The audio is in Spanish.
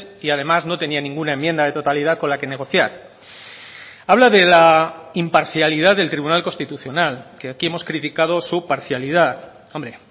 y además no tenía ninguna enmienda de totalidad con la que negociar habla de la imparcialidad del tribunal constitucional que aquí hemos criticado su parcialidad hombre